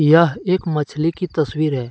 यह एक मछली की तस्वीर है।